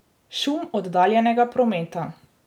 Šum oddaljenega prometa.